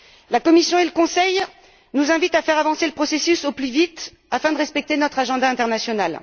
La Commission et le Conseil nous invitent à faire avancer le processus au plus vite afin de respecter notre calendrier international.